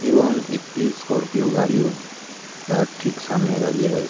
এবং একটি স্করপিও গাড়িও তার ঠিক সামনে দাঁড়িয়ে রয়ে--